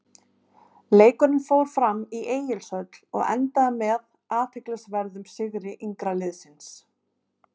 Leikurinn fór fram í Egilshöll og endaði með athyglisverðum sigri yngra liðsins.